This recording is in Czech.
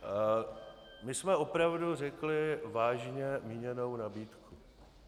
My jsme opravdu řekli vážně míněnou nabídku.